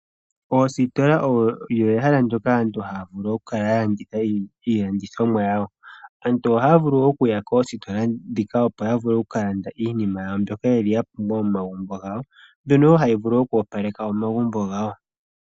Oositola odho ehala lyoka aantu haya vulu oku kala ya landitha iilandithomwa yawo. Aantu ohaya vulu okuya koositola dhika opo ya vule oku mkala ya landa iinima yawo mbyoka ya pumbwa momagumbo gawo, mbyono woo hayi vulu okoopaleka omagumbo gawo.